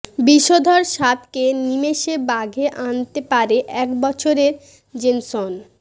বিষধর সাপকে নিমেষে বাগে আনতে পারে এক বছরের জেনসন